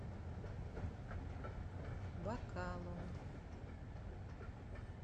бакалом